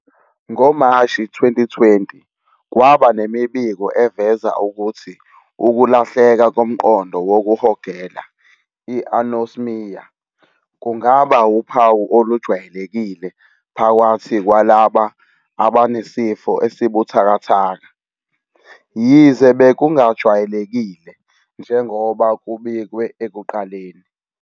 Ngo-Mashi 2020 kwaba nemibiko eveza ukuthi ukulahleka komqondo wokuhogela, i-anosmia, kungaba uphawu olujwayelekile phakathi kwalabo abanesifo esibuthakathaka, yize bekungajwayelekile njengoba kubikwe ekuqaleni.